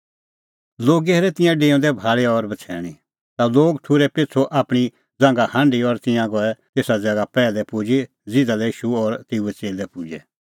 लोगै हेरै तिंयां डेऊंदै भाल़ी और बछ़ैणीं ता लोग ठुर्है पिछ़ू आपणीं ज़ांघा हांढी और तिंयां गऐ तेसा ज़ैगा पैहलै पुजी ज़िधा लै ईशू और तेऊए च़ेल्लै पुजै